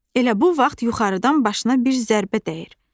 Elə bu vaxt yuxarıdan başına bir zərbə dəyir.